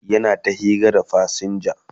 yana ta hira da fasinja